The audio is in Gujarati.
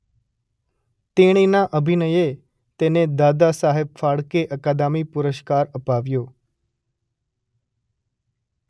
તેણીના અભિનયે તેને દાદાસહેબ ફાળકે અકાદમી પુરસ્કાર અપાવ્યો.